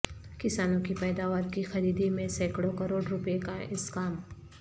کسانوں کی پیداوار کی خریدی میں سینکڑوں کروڑ روپئے کا اسکام